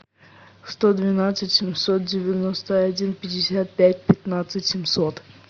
сто двенадцать семьсот девяносто один пятьдесят пять пятнадцать семьсот